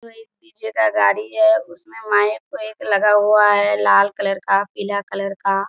जो एक डीजे का गाड़ी है उसमे माइक ओइक लगा हुआ है लाल कलर का पीला कलर का --